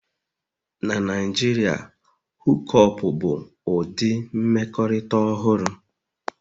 Na Naijiria, Hook up bụ ụdị mmekọrịta ọhụrụ